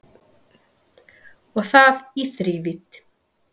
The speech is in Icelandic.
Og það í þrívídd